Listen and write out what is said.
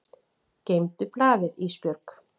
Geymdu blaðið Ísbjörg.